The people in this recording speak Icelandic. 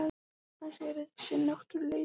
Hann segir að þetta sé náttúruleysi.